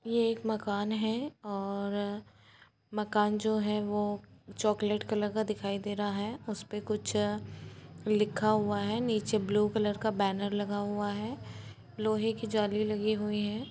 ये एक मकान है और मकान जो है वो चॉकलेट कलर का दिखाई दे रहा है। उस पे कुछ लिखा हुआ है नीचे ब्लू कलर का बैनर लगा हुआ है। लोहे की जाली लगी हुए है।